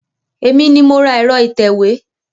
Èmi ni mo ra ẹ̀rọ ìtẹ̀wé.